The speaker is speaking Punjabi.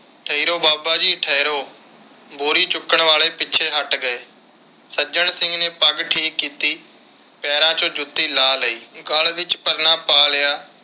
ਠਹਿਰੋ ਬਾਬਾ ਜੀ ਠਹਿਰੋ। ਬੋਰੀ ਚੁੱਕਣ ਵਾਲੇ ਪਿੱਛੇ ਹਟ ਗਏ। ਸੱਜਣ ਸਿੰਘ ਨੇ ਪੱਗ ਠੀਕ ਕੀਤੀ, ਪੈਰਾਂ ਵਿਚੋਂ ਜੁੱਤੀ ਲਾਹ ਲਈ ਤੇ ਗਲ ਵਿਚ ਪਰਨਾ ਪਾ ਲਿਆ